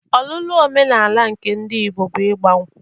Ọlụlụ omenala nke ndị Igbo bụ ịgba nkwụ